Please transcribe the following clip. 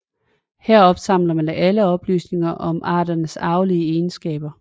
Her opsamler man alle oplysninger om arternes arvelige egenskaber